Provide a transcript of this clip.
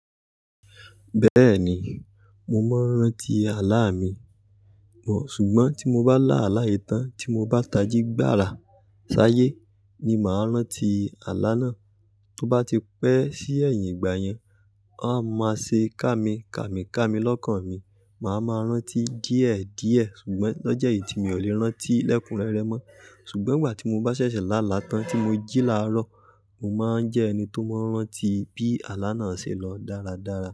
Bẹ́ẹ̀ni, mo máa ń rántí àlá mi, ṣùgbọ́n tí mo bá lá àlá yìtán tí mo bá tají gbára ṣáyé ni màá rántí àlá náà. Tí ó bá ti pẹ́ sí ẹ̀yìn ìgbà yẹn, a máa ṣe ká mi, ká mi ká mi lọ́kàn mi, màá ma rántí díẹ̀ díẹ̀ ṣùgbọ́n lọ́jọ́ yìí tí mi ò lè rántí lẹ́kunrẹ́rẹ́ mọ́. Ṣùgbọ́n ìgbà tí mo bá ṣẹ̀ṣẹ̀ lá àlá tán tí mo jí láàárọ̀, mo máa ń jẹ́ ẹni tó mọ́ rántí bí àlá náà ṣe lọ dáradára.